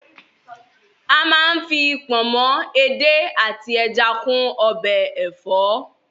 A má ń fi pọ̀nmọ́, edé àti ẹja kún ọbẹ̀ ẹ̀fọ́.